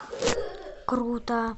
круто